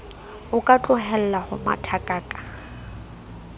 o ka tlohella ho mathakaka